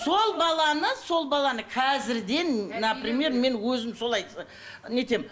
сол баланы сол баланы қазірден например мен өзім солай ы не етемін